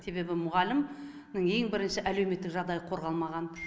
себебі мұғалімнің ең бірінші әлеуметтік жағдайы қорғалмаған